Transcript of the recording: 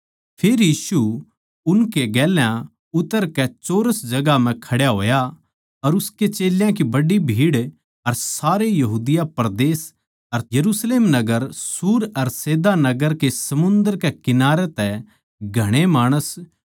फेर यीशु उनकै गेल्या उतरकै चौरस जगहां म्ह खड्या होया अर उसके चेल्यां की बड्डी भीड़ अर सारे यहूदिया परदेस अर यरुशलेम नगर सूर अर सैदा नगर के समुन्दर कै किनारे तै घणे माणस